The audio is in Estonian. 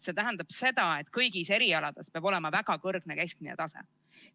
See tähendab seda, et kõigil erialadel peab olema väga kõrge keskmine tase.